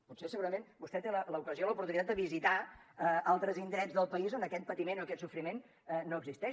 potser segurament vostè té l’ocasió l’oportunitat de visitar altres indrets del país on aquest patiment o aquest sofriment no existeix